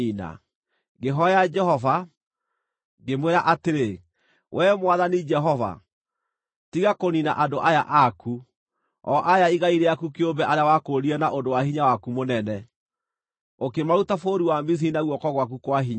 Ngĩhooya Jehova, ngĩmwĩra atĩrĩ, “Wee Mwathani Jehova, tiga kũniina andũ aya aku, o aya igai rĩaku kĩũmbe arĩa wakũũrire na ũndũ wa hinya waku mũnene, ũkĩmaruta bũrũri wa Misiri na guoko gwaku kwa hinya.